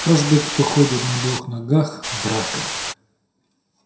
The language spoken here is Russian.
каждый кто ходит на двух ногах враг